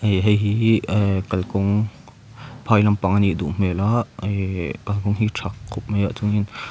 ih hei hi hi imm kalkawng phai lampang a nih duh hmel a kalkawng hi a tha khawp mai a chuanin--